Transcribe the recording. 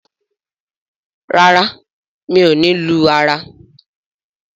ràrá mio ní lù ara.